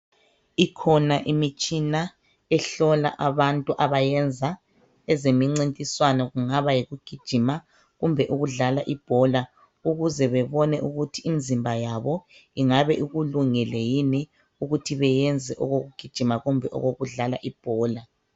Ikhona imitshina ehlola abantu abayenza ezemincintiswano kungaba yikugijima kumbe ukudlala ibhola ukuze bebone ukuthi imizimba yabo ingabe ikulungele yini ukuthi bayenze okokugijima kumbe ukudlala ibhola.